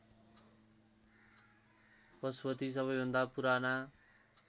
पशुपति सबैभन्दा पुराना